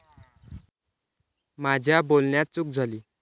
माझ्या बोलण्यात चूक झाली.